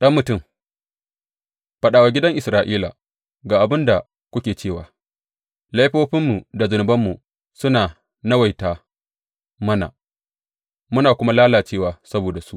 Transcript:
Ɗan mutum, faɗa wa gidan Isra’ila, Ga abin da kuke cewa, Laifofinmu da zunubanmu suna nawaita mana, muna kuma lalacewa saboda su.